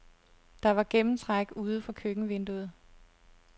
Der var gennemtræk ude fra køkkenvinduet.